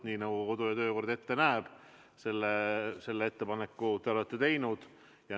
Nii nagu kodu- ja töökord ette näeb, olete te oma ettepaneku teinud.